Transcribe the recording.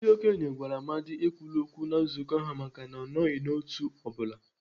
Ndị okenye gwara Amadi ekwule okwu na nzukọ ha maka na ọ nọghị n'otu ọ bụla.